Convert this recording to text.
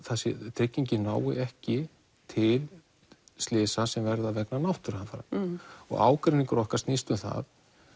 tryggingin nái ekki til slysa sem verða vegna náttúruhamfara og ágreiningur okkar snýst um það